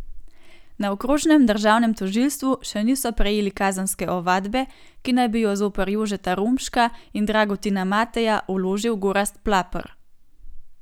Na okrožnem državnem tožilstvu še niso prejeli kazenske ovadbe, ki naj bi jo zoper Jožeta Romška in Dragutina Mateja vložil Gorazd Plaper.